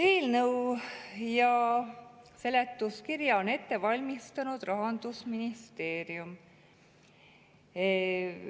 Eelnõu ja seletuskirja on ette valmistanud Rahandusministeerium.